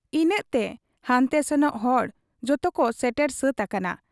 ᱤᱱᱟᱹᱜᱛᱮ ᱦᱟᱱᱛᱮ ᱥᱮᱱᱚᱜ ᱦᱚᱲ ᱡᱚᱛᱚᱠᱚ ᱥᱮᱴᱮᱨ ᱥᱟᱹᱛ ᱟᱠᱟᱱᱟ ᱾